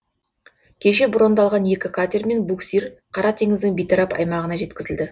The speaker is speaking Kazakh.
кеше брондалған екі катер мен буксир қара теңіздің бейтарап аймағына жеткізілді